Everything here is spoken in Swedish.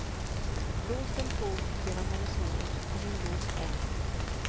Blåsten for genom hennes hår och hon log än.